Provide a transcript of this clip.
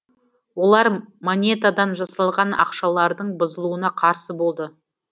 олар монетадан жасалған ақшалардың бұзылуына қарсы болды